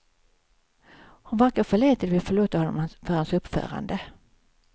Hon varken förlät eller ville förlåta honom för hans uppförande.